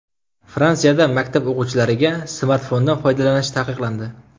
Fransiyada maktab o‘quvchilariga smartfondan foydalanish taqiqlandi.